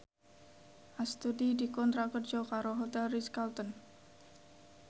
Astuti dikontrak kerja karo Hotel Ritz Carlton